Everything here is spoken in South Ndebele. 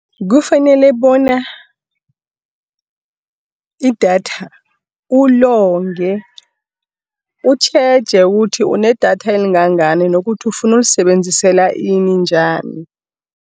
Kufanele bona idatha ulonge, utjheje ukuthi unedatha elingangani nokuthi ufuna ukulisebenzisela ini njani.